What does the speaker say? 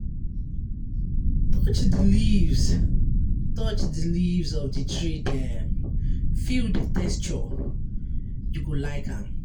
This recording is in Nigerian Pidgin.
Touch di leaves of di tree dem, feel di texture, you go like am.